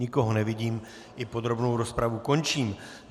Nikoho nevidím, i podrobnou rozpravu končím.